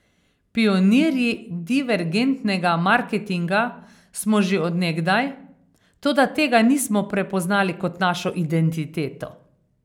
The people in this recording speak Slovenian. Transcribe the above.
Pionirji divergentnega marketinga smo že od nekdaj, toda tega nismo prepoznali kot našo identiteto.